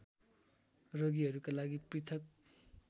रोगीहरूका लागि पृथक्